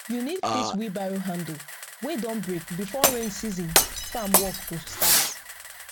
you need fix wheelbarrow handle wey don break before rain season farm work go start